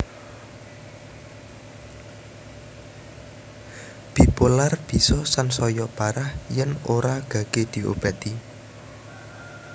Bipolar bisa sansaya parah yen ora gage diobati